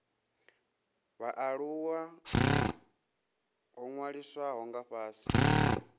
vhaaluwa ho ṅwalisiwaho nga fhasi